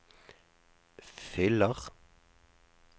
fyller